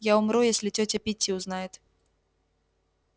я умру если тётя питти узнает